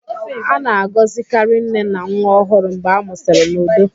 A na-agọzikarị nne na nwa ọhụrụ mgbe a mụsịrị n'udo.